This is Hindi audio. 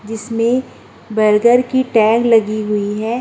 जिसमें बर्गर की टैग लगी हुई है।